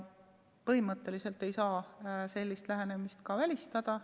Põhimõtteliselt ei saa sellist lähenemist välistada.